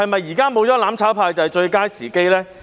現在沒有了"攬炒派"，是否就是最佳時機呢？